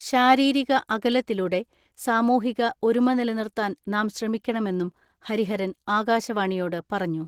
ശാരീരിക അകലത്തിലൂടെ സാമൂഹിക ഒരുമ നിലനിർത്താൻ നാം ശ്രമിക്കണമെന്നും ഹരിഹരൻ ആകാശവാണിയോട് പറഞ്ഞു.